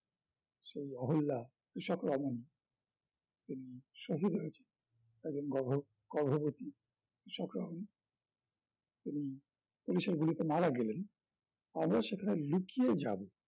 শ্রী আহরলাল, ইশক রমনি তেমনি সহ রয়েছেন একজন গর্ভ~ গর্ভবতী, কৃষকরাও তেমনি পুলিশের গুলিতে মারা গেলেন আমিও সেখানে লুকিয়ে যাবো